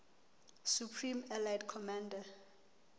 supreme allied commander